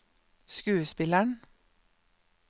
skuespilleren